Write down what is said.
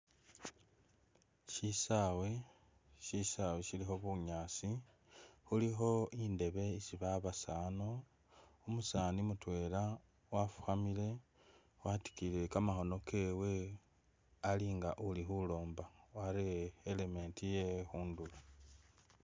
Shisawe, shisawe shilikho bunyaasi khulikho indeebe isi babasano, umusani mutwela wafukhamile watikiyile kamakhono kewe Ali nga uli khulomba wareye element ye khundulo